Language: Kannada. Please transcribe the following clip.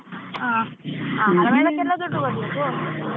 ಹಾ ಕೆಲವುದಕ್ಕೆಲ್ಲ ದುಡ್ಡು ಕೊಡ್ಬೇಕು. .